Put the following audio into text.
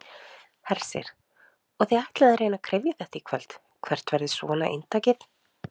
Hersir: Og þið ætlið að reyna að kryfja þetta í kvöld, hvert verður svona inntakið?